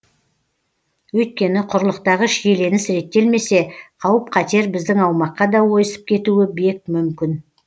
өйткені құрлықтағы шиеленіс реттелмесе қауіп қатер біздің аумаққа да ойысып кетуі бек мүмкін